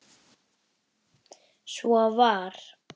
Svo var.